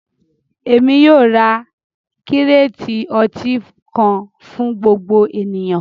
Ẹ̀mi yóò rá kírèètì ọ̀tí kan fún gbogbo ènìyàn